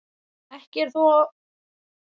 Ekki er þó óttast að þeir hafi farist eða slasast.